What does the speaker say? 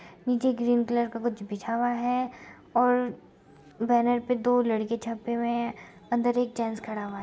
नीचे green colour का कुछ बिछाया है और बैनर पे दो लड़के छपे हुए है | अंदर एक जेंट्स खड़ा हुआ है।